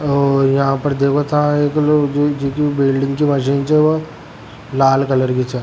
और यहाँ पर देख ता एक दुइ बिल्डिंग च लाल कलर की छे।